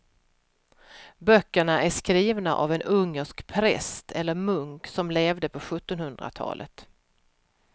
Böckerna är skrivna av en ungersk präst eller munk som levde på sjuttonhundratalet.